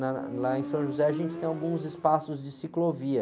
Lá, lá em São José a gente tem alguns espaços de ciclovia.